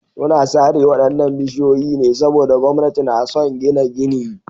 Suna sare waɗannan bishiyoyi ne saboda gwamnati na son gina gini.